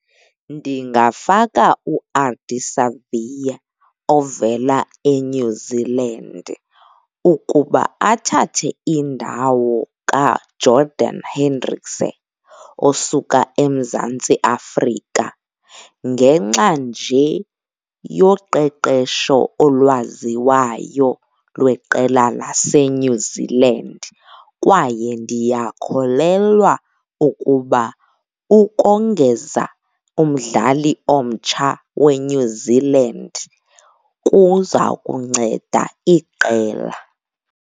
Ndingafaka uArdie Savea ovela eNew Zealand ukuba athathe indawo kaJordan Hendrikse osuka eMzantsi Afrika ngenxa nje yoqeqesho olwaziwayo lweqela laseNew Zealand. Kwaye ndiyakholelwa ukuba ukongeza umdlali omtsha weNew Zealand kuza kunceda iqela.